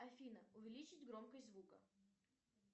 афина увеличить громкость звука